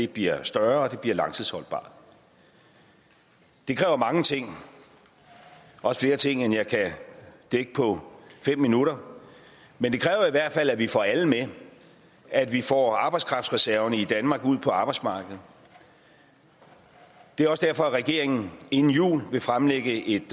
bliver større og bliver langtidsholdbart det kræver mange ting også flere ting end jeg kan dække på fem minutter men det kræver i hvert fald at vi får alle med at vi får arbejdskraftreserverne i danmark ud på arbejdsmarkedet det er også derfor regeringen inden jul vil fremlægge et